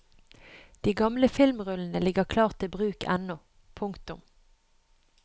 De gamle filmrullene ligger klar til bruk ennå. punktum